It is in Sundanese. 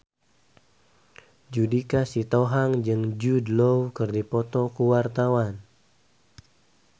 Judika Sitohang jeung Jude Law keur dipoto ku wartawan